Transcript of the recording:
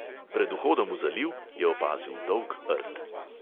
Pred vhodom v zaliv je opazil dolg rt.